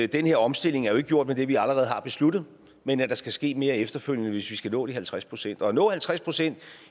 den her omstilling jo ikke er gjort med det vi allerede har besluttet men at der skal ske mere efterfølgende hvis vi skal nå de halvtreds procent og at nå halvtreds procent